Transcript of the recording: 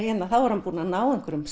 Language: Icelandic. þá er hann búinn að ná einhverjum